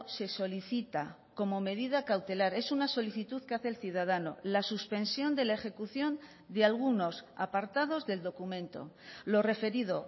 se solicita como medida cautelar es una solicitud que hace el ciudadano la suspensión de la ejecución de algunos apartados del documento lo referido